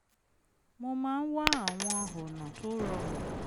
mo máa ń wá àwọn ọ̀nà tó rọrùn